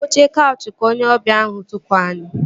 N'oche kaụchị ka onye ọbịa ahụ tukwu ani